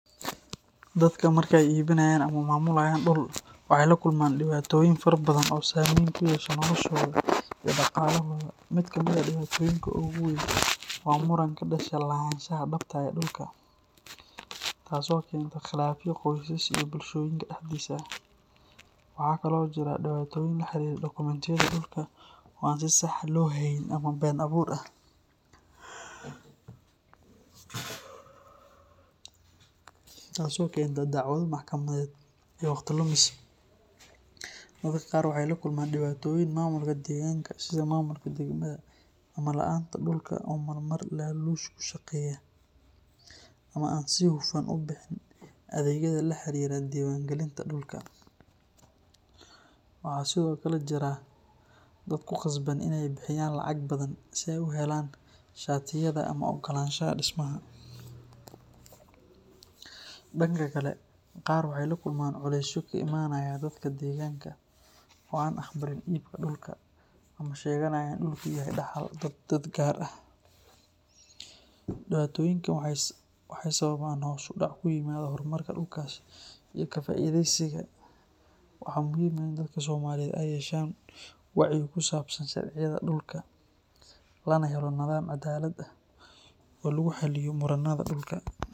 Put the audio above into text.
Dadka marka ay iibinayaan ama maamulayaan dhul waxay la kulmaan dhibaatooyin fara badan oo saameyn ku yeesha noloshooda iyo dhaqaalahooda. Mid ka mid ah dhibaatooyinka ugu weyn waa muran ka dhasha lahaanshaha dhabta ah ee dhulka, taasoo keenta khilaafyo qoysas iyo bulshooyinka dhexdiisa ah. Waxaa kale oo jira dhibaatooyin la xiriira dokumentiyada dhulka oo aan si sax ah loo hayn ama been abuur ah, taasoo keenta dacwado maxkamadeed iyo waqti lumis. Dadka qaar waxay la kulmaan dhibaatooyin maamulka deegaanka sida maamulka degmada ama laanta dhulka oo marmar laaluush ku shaqeeya ama aan si hufan u bixin adeegyada la xiriira diiwaangelinta dhulka. Waxaa sidoo kale jira dad ku qasban in ay bixiyaan lacag badan si ay u helaan shatiyada ama oggolaanshaha dhismaha. Dhanka kale, qaar waxay la kulmaan culeysyo ka imanaya dadka deegaanka oo aan aqbalin iibka dhulka ama sheeganaya in dhulku yahay dhaxal dad gaar ah. Dhibaatooyinkan waxay sababaan hoos u dhac ku yimaada horumarka dhulkaas iyo ka faa’iidaysigiisa. Waxaa muhiim ah in dadka Soomaaliyeed ay yeeshaan wacyi ku saabsan sharciyada dhulka, lana helo nidaam cadaalad ah oo lagu xalliyo muranada dhulka.